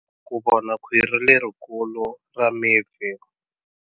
Ku vona khwiri lerikulu ra mipfi.